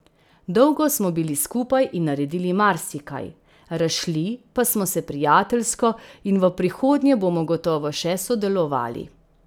Dolgo smo bili skupaj in naredili marsikaj, razšli pa smo se prijateljsko in v prihodnje bomo gotovo še sodelovali.